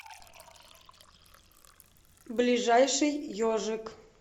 ближайший ежик